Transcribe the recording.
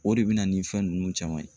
O de bɛ na ni fɛn ninnu caman ye